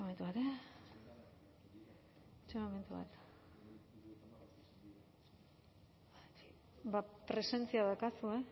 itxoin momentu bat ba presentzia daukazu